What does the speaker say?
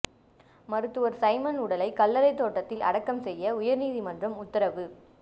மருத்துவர் சைமன் உடலை கல்லறை தோட்டத்தில் அடக்கம் செய்ய உயர்நீதிமன்றம் உத்தரவு